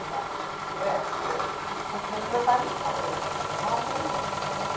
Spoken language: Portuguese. Então, ué, ahn meu pai não pagou isso tudo, nós ganhamos.